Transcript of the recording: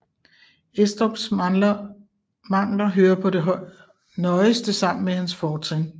Estrups mangler hører på det nøjeste sammen med hans fortrin